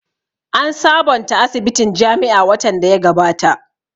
An sabonta asibitin jami'a watan da ya gabata